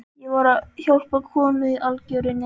Ég var að hjálpa konu í algjörri neyð.